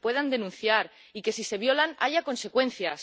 que se puedan denunciar y que, si se violan, haya consecuencias